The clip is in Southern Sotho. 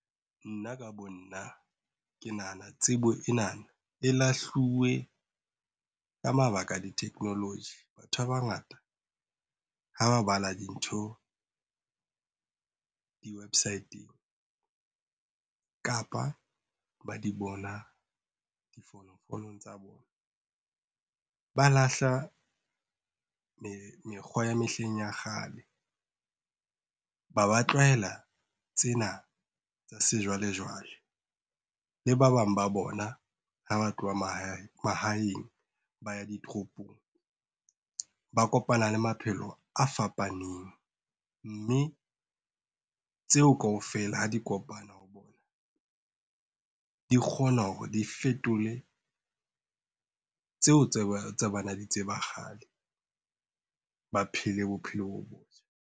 Nna ka bo nna ke nahana tsebo ena e lahluwe ka mabaka a di-technology. Batho ba bangata ha ba bala dintho, di-website-eng kapa ba di bona difonofonong tsa bona. Ba lahla mekgwa ya mehleng ya kgale, ba ba tlwaela tsena tsa sejwalejwale le ba bang ba bona ha ba tloha mahaeng ba ya ditoropong, ba kopana le maphelo a fapaneng mme tseo kaofela ha di kopana, di kgona hore di fetole tseo tse ba ne ba di tseba kgale ba phele bophelo bo.